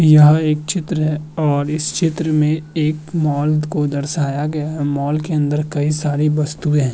यहां एक चित्र है और इस चित्र में एक मॉल को दर्शाया गया है। मॉल के अंदर कई सारी वस्तुएं है।